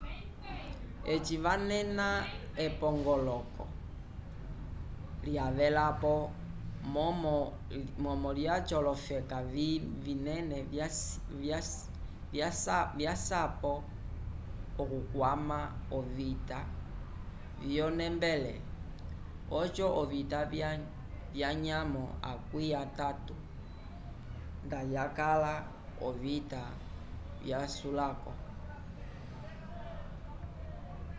eci canena epongoloko lya velapo momo lyaco olofeka vinene vasyapo okukwama ovita vyo nembele oco ovita vya nyamo akwi atatu nda yakala ovita vya sulako